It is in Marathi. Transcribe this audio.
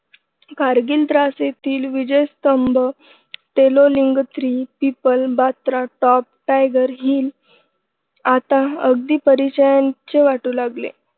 कारगिल द्रास येथील विजयस्तंभ Tololing three people Batra top tiger hill आता अगदी परिचयाचे वाटू लागले.